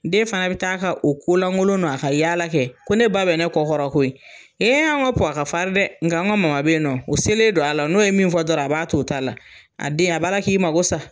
Den fana bɛ taa ka o ko lankolon n'a ka yaala kɛ. Ko ne ba bɛ ne kɔ kɔrɔ koyi. An ka Puha ka farin dɛ nga an ka mama bɛ yen nɔ, o selen don a la, n'o ye min fɔ dɔrɔn a b'a to o ta la, a den a b'a la k'i mako sa.